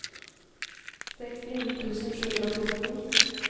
sekstini tusen sju hundre og fjorten